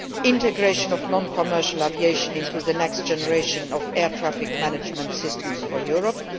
integration of non commercial aviation into the next generation of air traffic management systems for Europe